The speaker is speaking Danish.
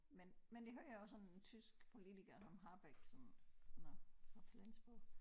Men men det hører jeg også om tysk politiker som Habeck som han er fra Flensborg